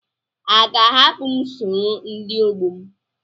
A ga-ahapụ m sọrọ ndi ọgbọ m?